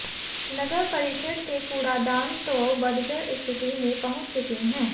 नगर परिषद के कूड़ादान तो बदतर स्थिति में पहुंच चुके हैं